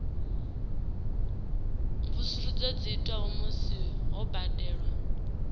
mvusuludzo dzi itwa musi ho badelwa